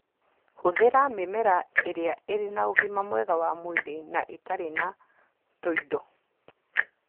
Hũthĩra mĩmera ĩrĩa ĩrĩ na ũgima mwega wa mwĩrĩ na ĩtarĩ na tũindo.